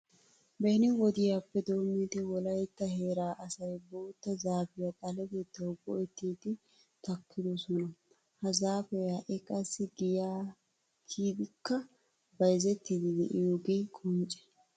Beni wodiyappe doommidi wolaytta heeraa asay bootta zaafiya xaletettawu go"ettiiddi takkidosona. Ha zaafee ha"i qassi giyaa kiyidikka bayzettiiddi de'iyogee qoncce.